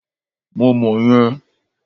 Mo mọ̀ yẹn.